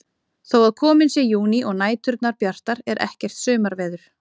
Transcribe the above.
Þó að kominn sé júní og næturnar bjartar er ekkert sumarveður.